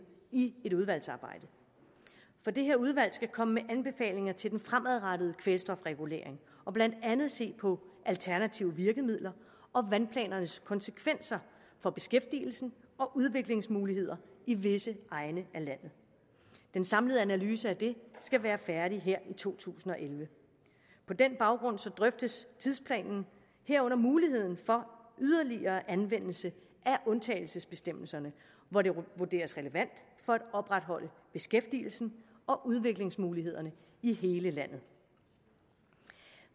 i et udvalgsarbejde det her udvalg skal komme med anbefalinger til den fremadrettede kvælstofregulering og blandt andet se på alternative virkemidler og vandplanernes konsekvenser for beskæftigelsen og udviklingsmulighederne i visse egne af landet den samlede analyse af det skal være færdig her i to tusind og elleve på den baggrund drøftes tidsplanen herunder muligheden for yderligere anvendelse af undtagelsesbestemmelserne hvor det vurderes relevant for at opretholde beskæftigelsen og udviklingsmulighederne i hele landet